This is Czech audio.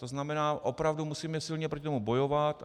To znamená, opravdu musíme silně proti tomu bojovat.